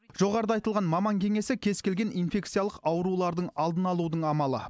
жоғарыда айтылған маман кеңесі кез келген инфекциялық аурулардың алдын алудың амалы